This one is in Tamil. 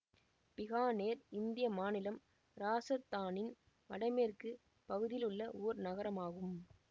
பிகானேர் இந்திய மாநிலம் இராசத்தானின் வடமேற்கு பகுதியில் உள்ள ஒர் நகரமாகும்